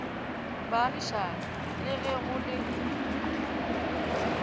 baagišane le ge go le